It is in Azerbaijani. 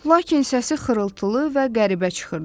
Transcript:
Lakin səsi xırıltılı və qəribə çıxırdı.